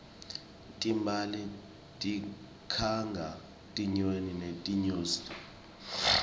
timbali tikhanga tinyoni netinyosi